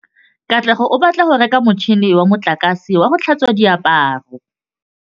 Katlego o batla go reka motšhine wa motlakase wa go tlhatswa diaparo.